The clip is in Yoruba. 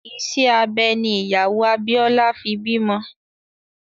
Ìṣe abẹ ní ìyàwó Abíọ́lá fi bímọ